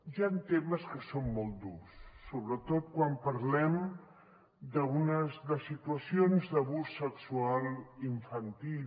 hi han temes que són molt durs sobretot quan parlem de situacions d’abús sexual infantil